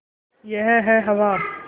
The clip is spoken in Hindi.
यह है हवा